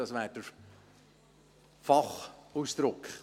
Das wäre der Fachausdruck.